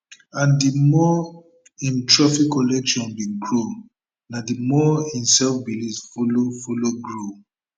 and di more im trophy collection bin grow na di more im selfbelief follow follow grow